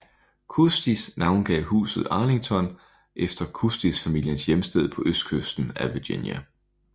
Custis navngav huset Arlington efter Custis familiens hjemsted på Østkysten af Virginia